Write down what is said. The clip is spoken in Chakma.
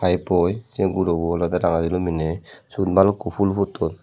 se gurobo olodey ranga silum pinney siyun balukkun ful futton.